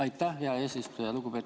Aitäh, hea eesistuja!